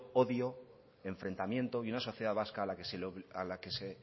odio enfrentamiento y una sociedad vasca a la que se